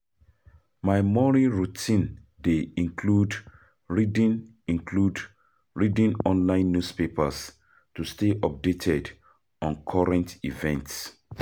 My morning routine dey include reading include reading online newspapers to stay updated on current events.